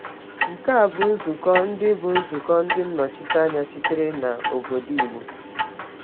Nke a bụ nzukọ ndị bụ nzukọ ndị nnọchiteanya sitere n’obodo Igbo.